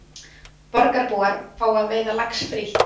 Borgarbúar fá að veiða lax frítt